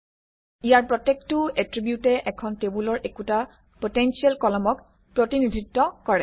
ইয়াৰ প্ৰত্যেকটো এট্ৰিবিউটে এখন টেবুলৰ একোটা পটেনচিয়েল কলমক প্ৰতিনিধিত্ব কৰে